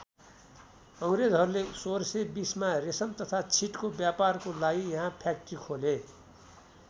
अङ्ग्रेजहरूले १६२०मा रेशम तथा छिटको व्यापारको लागि यहाँ फ्याक्ट्री खोले।